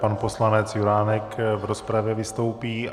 Pan poslanec Juránek v rozpravě vystoupí.